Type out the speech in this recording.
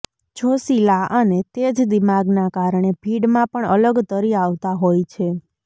જોશીલા અને તેજ દિમાગના કારણે ભીડમાં પણ અલગ તરી આવતા હોય છે